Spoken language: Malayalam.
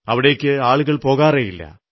അവിടേക്ക് ആളുകൾ പോകാറേ ഇല്ല